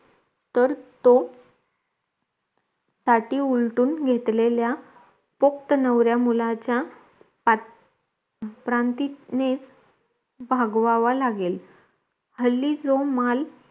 तर तो साठी उलटून घेतलेल्या फक्त नवरा मुलाचा प्रांतिनेच भागव्हावा लागेल हल्ली जो माल